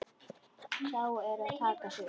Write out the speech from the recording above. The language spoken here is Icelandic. Þá er að taka því.